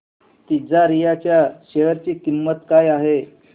तिजारिया च्या शेअर ची किंमत काय आहे